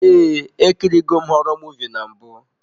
Ee, ekiri go m họrọ muvịị na mbụ.